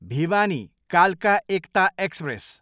भिवानी, कालका एकता एक्सप्रेस